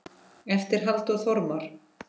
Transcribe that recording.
eftir Halldór Þormar